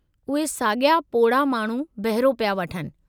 उहे सागि॒या पोढ़ा माण्हू बहिरो पिया वठनि।